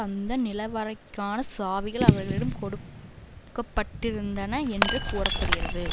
அந்த நிலைவறைக்கான சாவிகள் அவர்களிடம் கொடுக்கப்படிருந்தன என்று கூற படுகிறது